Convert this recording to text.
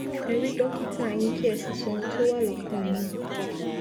ẹ rí dọkítà yín kí ẹ sì sọ ohun tó wà lọkàn yín